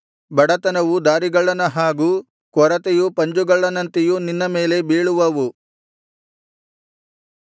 ಬಡತನವು ದಾರಿಗಳ್ಳನ ಹಾಗೂ ಕೊರತೆಯು ಪಂಜುಗಳ್ಳನಂತೆಯೂ ನಿನ್ನ ಮೇಲೆ ಬೀಳುವವು